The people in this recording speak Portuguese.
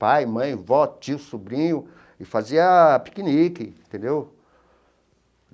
Pai, mãe, vó, tio, sobrinho, e fazia piquenique entendeu.